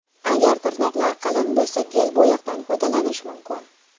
Agar tirnoqlar qalin bo‘lsa, gel bo‘yoqdan foydalanish mumkin.